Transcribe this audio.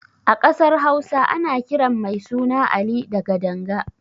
A ƙasar Hausa ana kiran mai suna Ali da Gadanga.